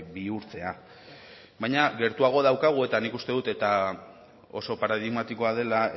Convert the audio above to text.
bihurtzea baina gertuago daukagu eta nik uste dut eta oso paradigmatikoa dela